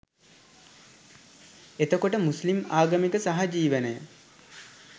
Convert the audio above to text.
එතකොට මුස්ලිම් ආගමික සහජිවනය